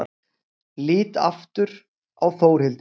Lít aftur á Þórhildi.